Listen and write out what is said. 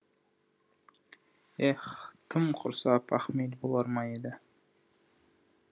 ех тым құрса пахмел болар ма еді